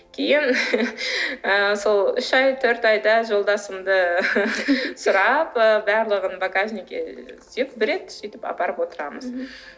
кейін ы сол үш ай төрт айда жолдасымды сұрап ы барлығын багажникке береді сөйтіп апарып отырамын мхм